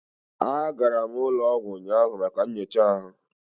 Agara m ụlọ ọgwụ ụnyahụ maka nyocha ahụ